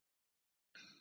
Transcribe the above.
Saga Rún.